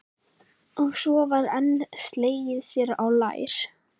Og svo var enn slegið sér á lær.